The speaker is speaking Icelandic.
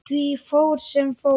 Því fór sem fór.